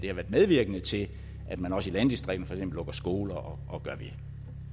medvirkende til at man også i landdistrikterne lukker skoler og gør ved